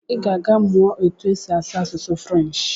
I ga-aga mụọ otu esi asụ asụsụ French.